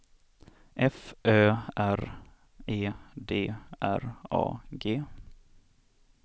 F Ö R E D R A G